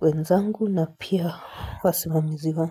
wenzangu na pia wasimamizi wangu.